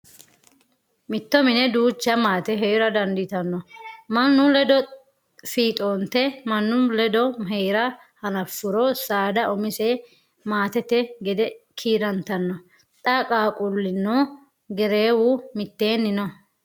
Mitto mine duucha maate heera dandiittano mannu ledo fiixonte mannu ledo heera hanafuro saada umise maatete gede kiirantano xa qaaqqulunna gereewu mitenni no.